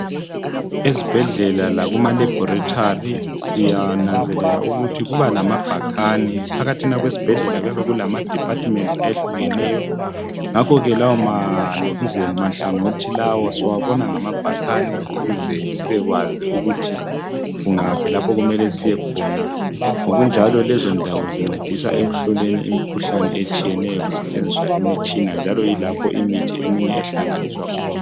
Ezibhedlela lakuma laboratory siyananzelela ukuthi kubalama bhakane .Phakathina kwesibhedlela kuyabe kulama departments ayehlukeneyo ngakho ke lawo amahlangothi lawa siwabona ngamabhakane ukuze sibekwazi ukuthi kungaphi lapho okumele siyekhona. Ngokunjalo lezo ndawo zincedisa ekuhloleni imikhuhlane etshiyeneyo kusetshenziswa imitshina njalo yilapho imithi eminye ehlanganiswa khona.